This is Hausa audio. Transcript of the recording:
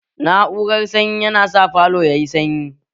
Na'urar sanyi yana sa falo yayi sanyi